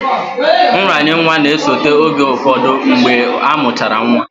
Nranye nwa na-esote oge ụfọdụ mgbe amụchara nwa